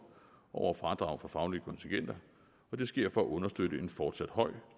over fradrag for faglige kontingenter og det sker for at understøtte en fortsat høj